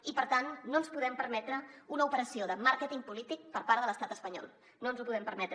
i per tant no ens podem permetre una operació de màrqueting polític per part de l’estat espanyol no ens ho podem permetre